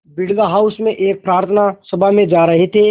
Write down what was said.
Birla house में एक प्रार्थना सभा में जा रहे थे